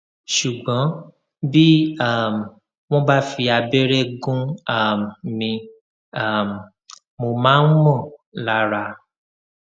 ṣùgbọn bí um wọn bá fi abẹrẹ gún um mi um mo máa ń mọ lára